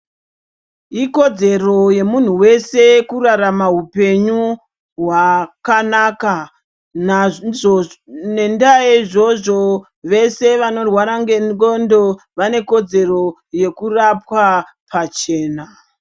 Ikodzedzero yemunhu wese kurarama upenyu hwakanaka naizvo ngendaa yeizvozvo vese vanorwara ngenglondo vanekodzero yekurapwa pachena.